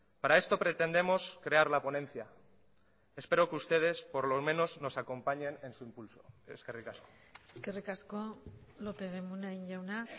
para esto pretendemos crear la ponencia espero que ustedes por lo menos nos acompañen en su impulso eskerrik asko eskerrik asko lópez de munain jauna